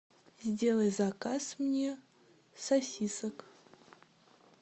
сделай заказ мне сосисок